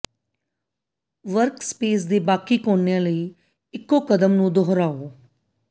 workspace ਦੇ ਬਾਕੀ ਕੋਨਿਆਂ ਲਈ ਇੱਕੋ ਕਦਮ ਨੂੰ ਦੁਹਰਾਓ